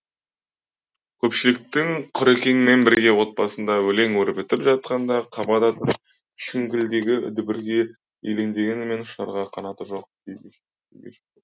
көпшіліктің құрекеңмен бірге отбасында өлең өрбітіп жатқанда қабада тұрып шіңгілдегі дүбірге елеңдегенімен ұшарға қанаты жоқ күй кешіпті